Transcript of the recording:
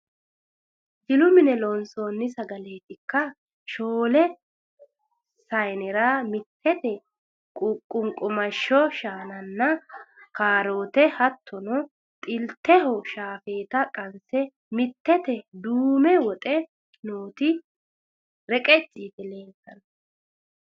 Jilu mine loonsoni sageleetikka? Shoole sayiinera mittete qunqumado shaananna kaarote hattono xilteho shaafeta qanse mitteteni duume woxe nooti reqecci yite no